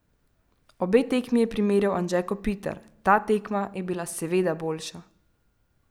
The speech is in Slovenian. Obe tekmi je primerjal Anže Kopitar: "Ta tekma je bila seveda boljša.